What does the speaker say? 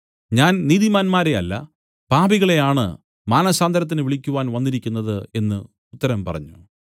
ഞാൻ നീതിമാന്മാരെ അല്ല പാപികളെയാണ് മാനസാന്തരത്തിന് വിളിക്കുവാൻ വന്നിരിക്കുന്നത് എന്നു ഉത്തരം പറഞ്ഞു